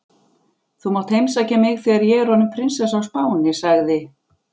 Þú mátt heimsækja mig þegar ég er orðin prinsessa á Spáni sagði